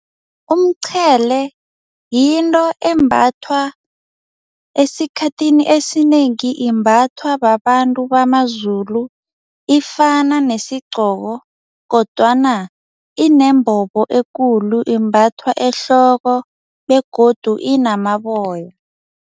Umqhele yinto embathwa esikhathini esinengi imbathwa babantu bamaZulu, ifana nesiqgoko kodwana inembobo ekulu imbathwa ehloko begodu inamaboya.